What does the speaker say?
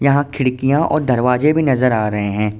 यहाँ खिड़कियाँ और दरवाजे भी नजर आ रहे हैं।